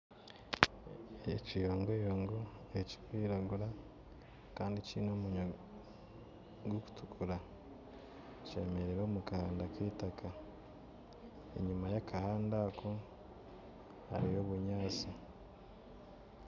Ekiyongoyongo ekirikwiragura kandi kiine omunwa gurikutukura kyemereire omu kahanda k'eitaka kandi enyima y'akahanda ako hariyo obunyaatsi